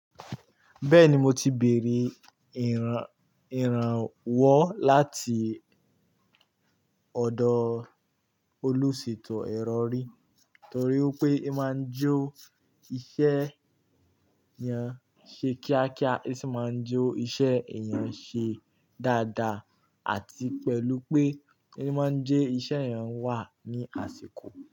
Bẹ́ẹ̀ni, mo ti bèrè ìrànwọ́ láti ọ̀dọ̀ oluṣeto ero ri torí pé ó máa ń jó iṣẹ́ èèyàn ṣe kíákíá, ó sì máa ń je iṣẹ́ èèyàn ṣe dáadáa àti pẹ̀lú pé ó máa ń jẹ́ iṣẹ́ èèyàn wà ní àsìkò.